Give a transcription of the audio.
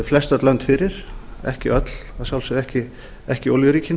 flestöll lönd fyrir ekki öll að sjálfsögðu ekki olíuríkin